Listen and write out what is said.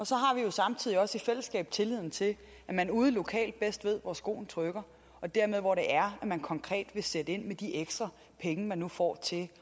så har vi jo samtidig også i fællesskab tilliden til at man ude lokalt bedst ved hvor skoen trykker og dermed hvor man konkret skal sætte ind med de ekstra penge man nu får til